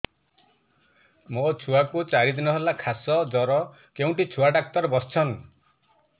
ମୋ ଛୁଆ କୁ ଚାରି ଦିନ ହେଲା ଖାସ ଜର କେଉଁଠି ଛୁଆ ଡାକ୍ତର ଵସ୍ଛନ୍